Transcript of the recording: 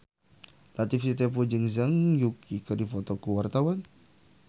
Latief Sitepu jeung Zhang Yuqi keur dipoto ku wartawan